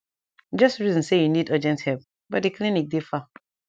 just reason say u nid urgent epp but d clinic dey far